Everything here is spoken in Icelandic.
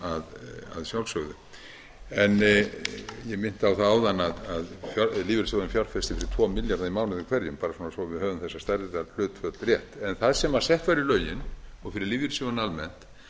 að sjálfsögðu ég minnti á það áðan að lífeyrissjóðurinn fjárfestir fyrir tvo milljarða í mánuði hverjum bara svo að við höfum þessar staðreyndir og hlutföll rétt það sem sett var í lögin fyrir lífeyrissjóðina almennt